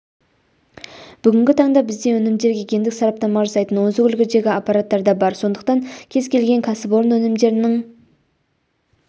бүгінгі таңда бізде өнімдерге гендік сараптама жасайтын озық үлгідегі аппараттар да бар сондықтан кез-келген кәсіпорын өнімдерінің